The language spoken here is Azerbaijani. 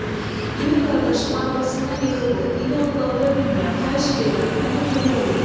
Böyük qardaşım arabasından yıxıldı, indi onu qaldıra bilmirəm, xahiş eləyirəm, mənə kömək eləyin.